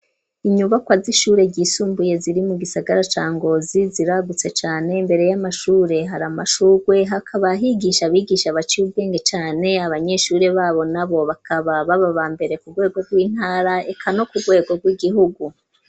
Inyubakwa z'ishure ryisumbuye ziri mu gisagara cangozi ziragutse cane mbere y'amashure hari amashurwe hakaba higisha abigisha baciwwenge cane abanyeshure babo na bo bakaba bababa mbere ku bwego rw'intara eka no ku bwego rw'igihugu.